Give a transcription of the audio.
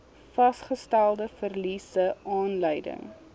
vasgestelde verliese aanleiding